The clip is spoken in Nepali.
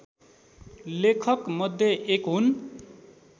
लेखक मध्ये एक हुन्